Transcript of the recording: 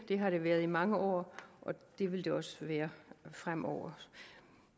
har det været i mange år og det vil det også være fremover